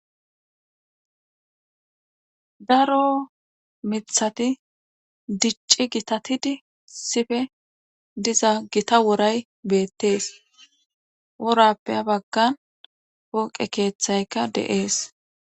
daro mithati dicci gitatidi sife diza gita woray beettees orappe habaggan pooqe keeththayka de'es